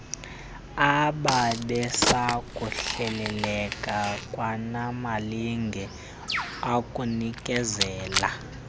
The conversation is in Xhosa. ababesakuhleleleka kwanamalinge okunikezela